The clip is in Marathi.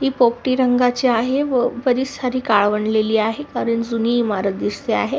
हि पोपटी रंगाची आहे व बरीच सारी काळवंडलेली पडलेली आहे कारण जुनी इमारत दिसते आहे.